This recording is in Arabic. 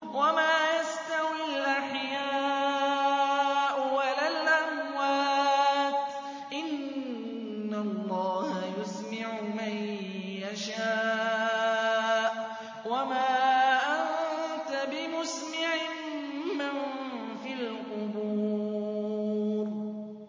وَمَا يَسْتَوِي الْأَحْيَاءُ وَلَا الْأَمْوَاتُ ۚ إِنَّ اللَّهَ يُسْمِعُ مَن يَشَاءُ ۖ وَمَا أَنتَ بِمُسْمِعٍ مَّن فِي الْقُبُورِ